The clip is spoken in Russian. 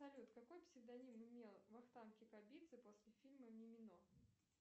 салют какой псевдоним имел вахтанг кикабидзе после фильма мимино